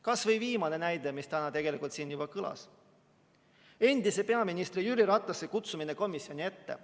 Kas või viimane näide, mis täna siin juba kõlas: endise peaministri Jüri Ratase kutsumine komisjoni ette.